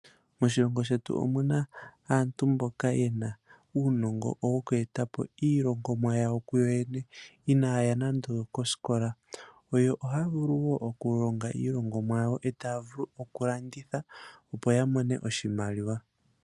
Moshilongo shetu omuna aantu mboka yena uunongo woku eta po iilongomwa yawo kuyo yene inaya ya nando okosikola ,oyo ohaya vulu wo okulonga iilongonwa yawo eta vulu okulanditha opo ya mone mo oshimaliwa.